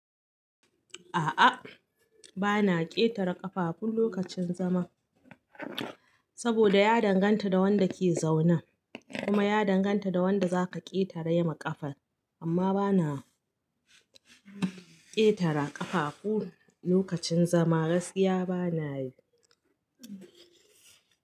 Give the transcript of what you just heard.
A'a, bana ƙetare ƙafafu lokacin zama saboda ya danganta da wanda ke zaune kuma ya danganta da wanda zaka ƙetare ma ƙafar amma bana ƙetare ƙafafu lokacin zama gaskiya bana yi.